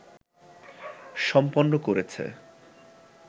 সম্পন্ন করেছে